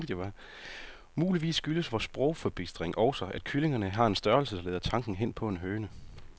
Muligvis skyldes vor sprogforbistring også, at kyllingerne her har en størrelse, der leder tanken hen på en høne.